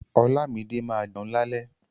Olámídé ma jẹun lálẹ́.